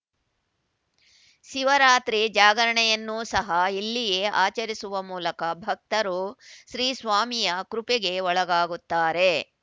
ಶಿವರಾತ್ರಿ ಜಾಗರಣೆಯನ್ನೂ ಸಹ ಇಲ್ಲಿಯೇ ಆಚರಿಸುವ ಮೂಲಕ ಭಕ್ತರು ಶ್ರೀ ಸ್ವಾಮಿಯ ಕೃಪೆಗೆ ಒಳಗಾಗುತ್ತಾರೆ